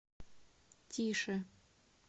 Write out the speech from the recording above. тише